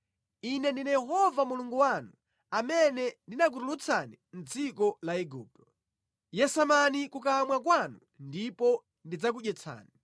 Ine ndine Yehova Mulungu wanu, amene ndinakutulutsani mʼdziko la Igupto. Yasamani kukamwa kwanu ndipo ndidzakudyetsani.